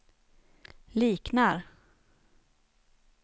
liknar